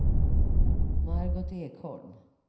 Margot Ekholm